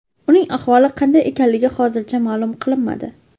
Uning ahvoli qanday ekanligi hozircha ma’lum qilinmadi.